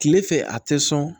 Tile fɛ a tɛ sɔn